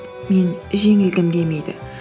мен жеңілгім келмейді